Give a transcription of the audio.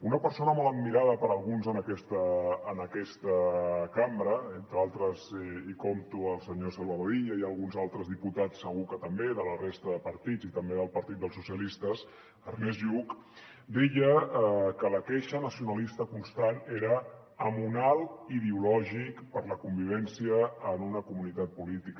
una persona molt admirada per alguns en aquesta cambra entre d’altres hi compto el senyor salvador illa i alguns altres diputats segur que també de la resta de partits i també del partit dels socialistes ernest lluch deia que la queixa nacionalista constant era amonal ideològic per a la convivència en una comunitat política